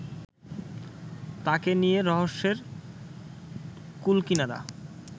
তাঁকে নিয়ে রহস্যের কুলকিনারা